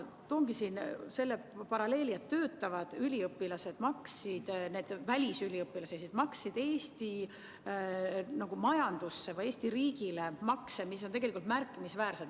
Toongi siin selle välja, et töötavad välisüliõpilased maksid Eesti majandusse, Eesti riigile makse, mis on tegelikult märkimisväärsed.